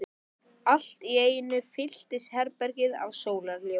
Allt í einu fyllist herbergið af sólarljósi.